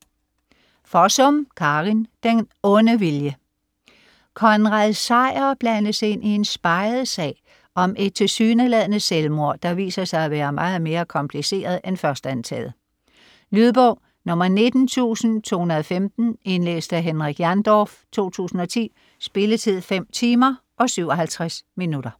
Fossum, Karin: Den onde vilje Konrad Sejer blandes ind i en speget sag om et tilsyneladende selvmord, der viser sig at være meget mere kompliceret end først antaget. Lydbog 19215 Indlæst af Henrik Jandorf, 2010. Spilletid: 5 timer, 57 minutter.